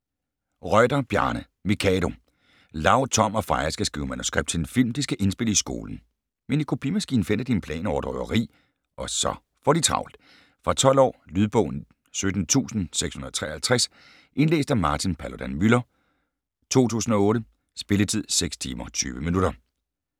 Reuter, Bjarne: Mikado Lau, Tom og Freja skal skrive manuskript til en film, de skal indspille i skolen. Men i kopimaskinen finder de en plan over et røveri, og så får de travlt! Fra 12 år. Lydbog 17653 Indlæst af Martin Paludan-Müller, 2008. Spilletid: 6 timer, 20 minutter.